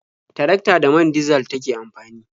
Tarakta da man dizal take amfani.